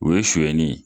O ye suɲɛni ye